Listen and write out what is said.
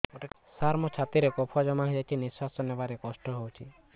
ସାର ମୋର ଛାତି ରେ କଫ ଜମା ହେଇଯାଇଛି ନିଶ୍ୱାସ ନେବାରେ କଷ୍ଟ ହଉଛି